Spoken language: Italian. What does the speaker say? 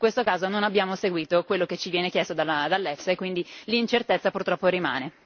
In questo caso non abbiamo seguito quello che ci viene chiesto dall'EFTA e quindi l'incertezza purtroppo rimane.